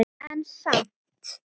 En samt.